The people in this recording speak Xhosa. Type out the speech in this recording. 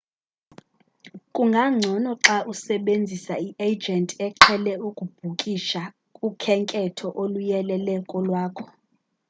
kungangcono xa usebenzisa i-agent eqhele ukubhukisha ukhenketho oluyelele kolwakho